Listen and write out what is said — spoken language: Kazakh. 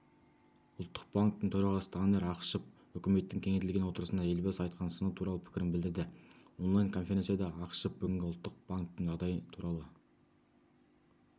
ұлттық банктің төрағасы данияр ақышев үкіметтің кеңейтілген отырысында елбасы айтқан сыны туралы пікірін білдірді онлайн-конференцияда ақышев бүгінгі ұлттық банктің жағдайы туралы